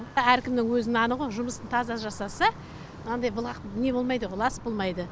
әркімнің өзі наны ғой жұмысын таза жасаса мынандай былғақ не болмайды ғой лас болмайды